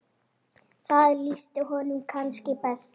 Það lýsti honum kannski best.